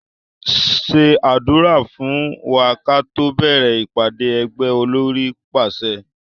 Ṣé àdúrà fún wa káto bẹ̀rẹ̀ ìpàdé ẹgbẹ́! Olórí pàṣẹ